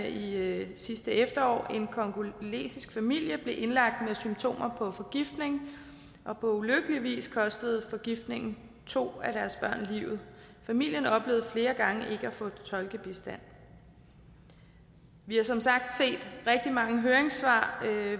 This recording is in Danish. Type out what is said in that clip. i medierne sidste efterår en congolesisk familie blev indlagt med symptomer på forgiftning og på ulykkelig vis kostede forgiftningen to af deres børn livet familien oplevede flere gange ikke at få tolkebistand vi har som sagt set rigtig mange høringssvar